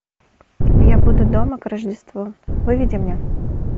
я буду дома к рождеству выведи мне